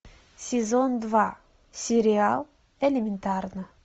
сезон два сериал элементарно